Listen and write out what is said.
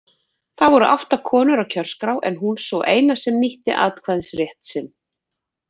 Þá voru átta konur á kjörskrá en hún sú eina sem nýtti atkvæðisrétt sinn.